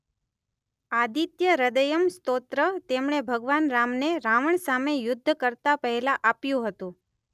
આદિત્યહ્રદયમ સ્તોત્ર તેમણે ભગવાન રામને રાવણ સામે યુધ્ધ કરતા પહેલા આપ્યો હતો.